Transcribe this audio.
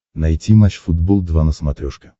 найти матч футбол два на смотрешке